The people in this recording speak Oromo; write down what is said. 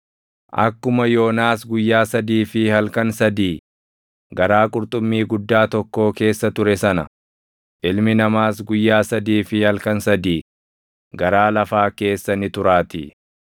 Akkuma Yoonaas guyyaa sadii fi halkan sadii garaa qurxummii guddaa tokkoo keessa ture sana, Ilmi Namaas guyyaa sadii fi halkan sadii garaa lafaa keessa ni turaatii.